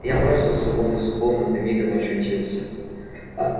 я бросился вон из комнаты мигом очутился а